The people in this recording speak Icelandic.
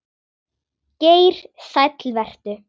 Geir Sæll vertu.